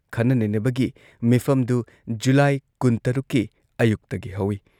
ꯈꯟꯅ ꯅꯩꯅꯕꯒꯤ ꯃꯤꯐꯝꯗꯨ ꯖꯨꯂꯥꯏ ꯀꯨꯟꯇꯔꯨꯛꯀꯤ ꯑꯌꯨꯛꯇꯒꯤ ꯍꯧꯏ ꯫